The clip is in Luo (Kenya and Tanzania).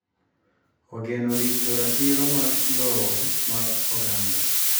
ogeno rito ratiro mag lowo mag oganda